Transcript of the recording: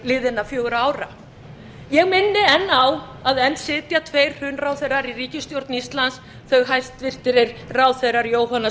liðinna fjögurra ára ég minni enn á að enn sitja tveir hrunráðherrar í ríkisstjórn íslands hæstvirtir ráðherrar jóhanna